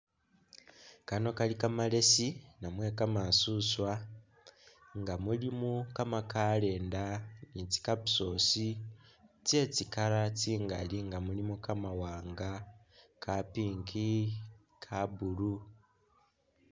Kano kali kamalesi namwe kama suswa nga mulimo kamakalenda ni tsi capsules tsesti color tsingali nga mulimo kamawanga , ka pink , ka blue.